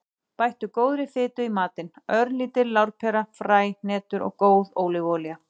Bættu góðri fitu í matinn; örlítil lárpera, fræ, hnetur eða góð ólífuolía.